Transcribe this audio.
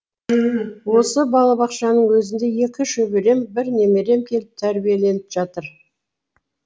осы балабақшаның өзінде екі шөберем бір немерем келіп тәрбиеленіп жатыр